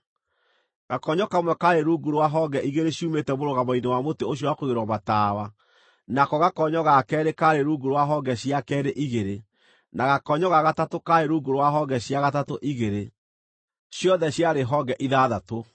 Gakonyo kamwe kaarĩ rungu rwa honge igĩrĩ ciumĩte mũrũgamo-inĩ wa mũtĩ ũcio wa kũigĩrĩrwo matawa, nako gakonyo ga keerĩ kaarĩ rungu rwa honge cia keerĩ igĩrĩ, na gakonyo ga gatatũ kaarĩ rungu rwa honge cia gatatũ igĩrĩ; ciothe ciarĩ honge ithathatũ.